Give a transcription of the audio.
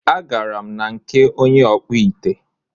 A garam na nke onye ọkpụ ite